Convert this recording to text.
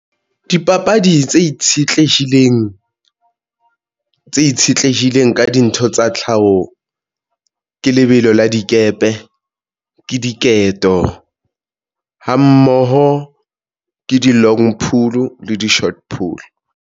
Dipapadi tse itshetlehileng, tse itshetlehileng ka dintho tsa tlhaho. Ke lebelo la dikepe ke diketo ha mmoho ke di-long pool le di-short pool.